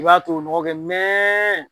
I b'a to nɔgɔ kɛ mɛn